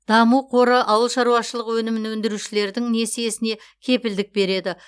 даму қоры ауыл шаруашылығы өнімін өндірушілердің несиесіне кепілдік береді